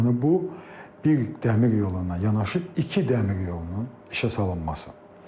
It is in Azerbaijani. Yəni bu bir dəmir yoluna yanaşı iki dəmir yolunun işə salınmasıdır.